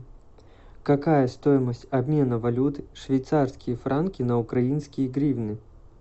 какая стоимость обмена валют швейцарские франки на украинские гривны